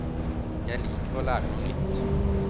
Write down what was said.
Jeg liker å lære noe nytt.